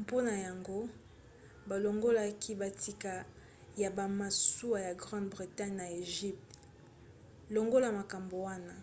mpona yango balongolaki bitika ya bamasuwa ya grande bretagne na egypte. longola makambo wana